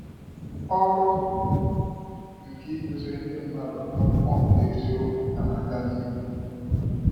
Ọrụ nke ikuziri ndị mmadụ akwụkwọ nke eziokwu ka na aga n'ihu.